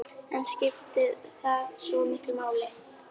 En skiptir það svo miklu máli?